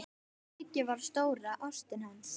Sigga var stóra ástin hans.